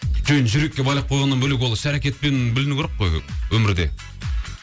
жоқ енді жүрекке байлап қойғаннан бөлек ол іс әрекетпен білінуі керек қой өмірде